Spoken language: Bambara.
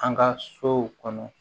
An ka sow kɔnɔ